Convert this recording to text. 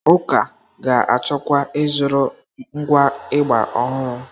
Ụka ga-achọkwa ịzụrụ ngwa ịgbà ọhụrụ.